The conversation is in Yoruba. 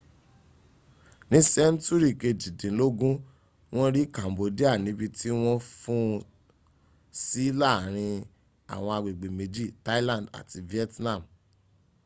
ní sẹ́ńtúrì kejìdínlógún wọ́n rí cambodia níbi tí wọ́n fún un sí láàrin àwọn agbègbè méjì thailand àti vietnam